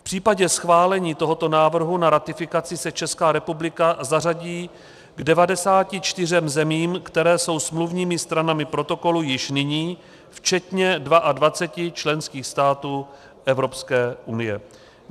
V případě schválení tohoto návrhu na ratifikaci se Česká republika zařadí k 94 zemím, které jsou smluvními stranami protokolu již nyní, včetně 22 členských států Evropské unie.